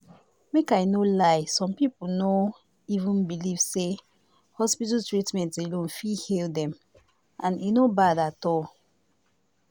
make i no lie some people no even believe say hospital treatment alone fit heal them and e no bad at all